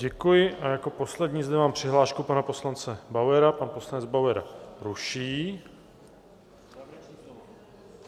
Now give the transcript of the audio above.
Děkuji a jako poslední zde mám přihlášku pana poslance Bauera - pan poslanec Bauer ji ruší.